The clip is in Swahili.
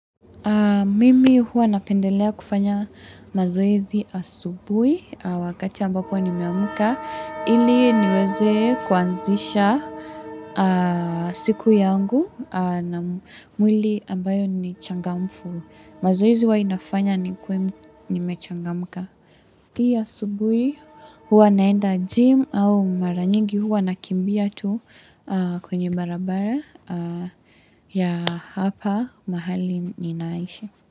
Mimi huwa napendelea kufanya mazoezi asubuhi wakati ambapo nimeamka. Ili niweze kuanzisha, siku yangu na mwili ambayo ni changamfu. Mazoezi huwa inafanya nikuwe nimechangamka. Pia asubuhi huwa naenda gym au mara nyingi huwa nakimbia tu kwenye barabara ya hapa mahali ninaishi.